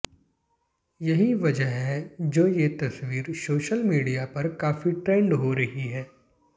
यही वजह है जो ये तस्वीर सोशल मीडिया पर काफी ट्रेंड हो रही है